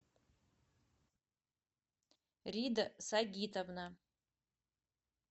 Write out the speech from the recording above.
рида сагитовна